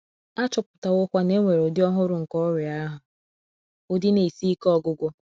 A chọpụtawokwa na e nwere ụdị ọhụrụ nke ọrịa ahụ-ụdị na - esi ike ọgwụgwọ.